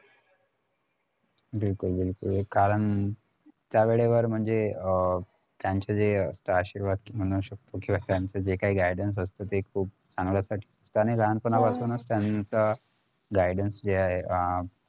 बिलकुल बिलकुल कारण त्यावेळेवर म्हणजे त्यांचं जे आशीर्वाद म्हणू शकतो किंवा त्यांचं जे काही guidance असतो ते खुप चांगल्यासाठी त्यांनी लहानपणापासून त्यांचा guidance जे आहे